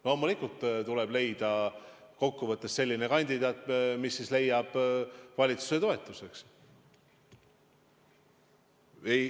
Loomulikult tuleb leida kokkuvõttes selline kandidaat, kes saab valitsuse toetuse.